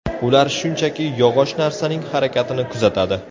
Ular shunchaki yog‘och narsaning harakatini kuzatadi.